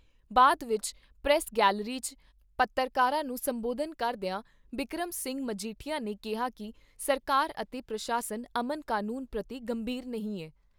ਬਾਅਦ ਵਿਚ press gallery 'ਚ ਪੱਤਰਕਾਰਾਂ ਨੂੰ ਸੰਬੋਧਨ ਕਰਦਿਆਂ ਬਿਕਰਮ ਸਿੰਘ ਮਜੀਠੀਆ ਨੇ ਕਿਹਾ ਕਿ ਸਰਕਾਰ ਅਤੇ ਪ੍ਰਸ਼ਾਸਨ ਅਮਨ ਕਾਨੂੰਨ ਪ੍ਰਤੀ ਗੰਭੀਰ ਨਹੀਂ ਐ।